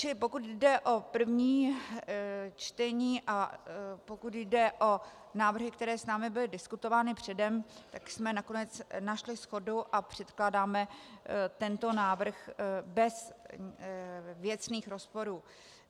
Čili pokud jde o první čtení a pokud jde o návrhy, které s námi byly diskutovány předem, tak jsme nakonec našli shodu a předkládáme tento návrh bez věcných rozporů.